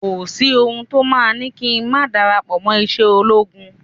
Kò sí ohun to máa ni kí n ma darapo ise ologun